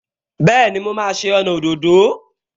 Bẹ́ẹ̀ni, mo máa ṣe ọnà òdòdó